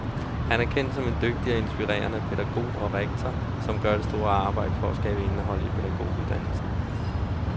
Han er kendt som en dygtig og inspirerende pædagog og rektor, som gør et stort arbejde for at skabe indhold i pædagoguddannelsen.